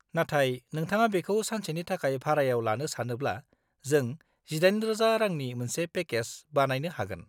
नाथाय नोंथाङा बेखौ सानसेनि थाखाय भारायाव लानो सानोब्ला, जों 18,000 रांनि मोनसे पेकेज बानायनो हागोन।